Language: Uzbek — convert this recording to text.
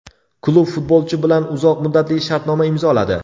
Klub futbolchi bilan uzoq muddatli shartnoma imzoladi.